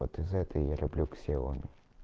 вот и за это я люблю ксеоми